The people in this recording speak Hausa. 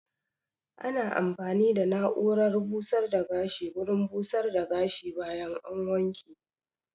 Ana amfani da na'urar busar da gashi wurin busar da gashi bayan an wanke